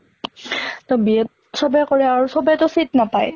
তʼ B.Ed টো চবে কৰে আৰু চবে টো seat নাপায়